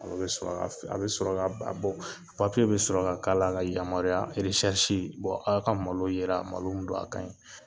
A bɔ sɔrɔ bɛ sɔrɔ ka k'a la ka yamaruya aw ka malo yera malo min don a ka ɲi